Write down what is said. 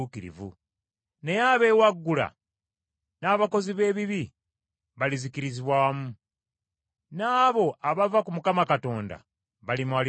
Naye abeewaggula n’abakozi b’ebibi balizikirizibwa wamu, n’abo abava ku Mukama Katonda, balimalibwawo.